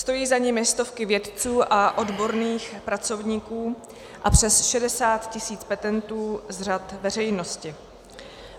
Stojí za nimi stovky vědců a odborných pracovníků a přes 60 tisíc petentů z řad veřejnosti.